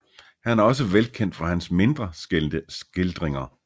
Han er også velkendt for hans mindre skildringer